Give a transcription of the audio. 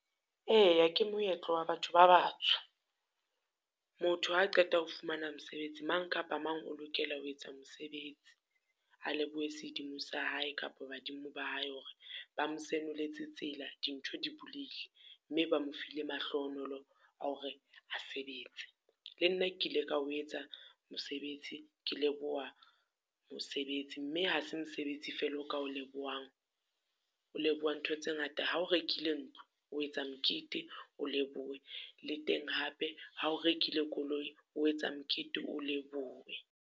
Eya ke moetlo wa batho ba batsho. Motho ha a qeta ho fumana mosebetsi, mang kapa mang o lokela ho etsa mosebetsi. A lebohe sedimo sa hae kapo badimo ba hae hore ba mo senoletse tsela, dintho di buleile mme ba mo file mahlohonolo a hore a sebetse. Le nna ke ile ka o etsa mosebetsi. Ke leboha mosebetsi mme ha se mosebetsi fela o ka o lebohang, o leboha ntho tse ngata. Ha o rekile ntlo o etsa mokete, o lebohe le teng hape ha o rekile koloi, o etsa mokete, o lebohe.